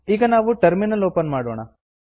ಈಗ ನಾವು terminal open ಮಾಡೋಣ